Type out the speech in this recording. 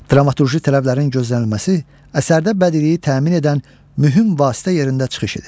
Dramaturji tələblərin gözlənilməsi əsərdə bədiliyi təmin edən mühüm vasitə yerində çıxış edir.